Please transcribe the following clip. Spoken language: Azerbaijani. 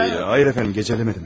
Yox, hayır efendim, gecələmədim.